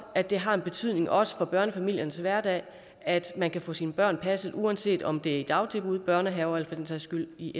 at det har en betydning også for børnefamiliernes hverdag at man kan få sine børn passet uanset om det er i dagtilbud børnehave eller for den sags skyld i